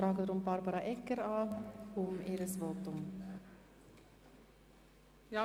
Deshalb frage ich Regierungsrätin Barbara Egger, ob sie das Wort wünscht.